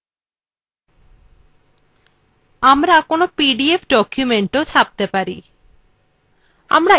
আপনি pdf ডকুমেন্টটিও ছাপতে পারেন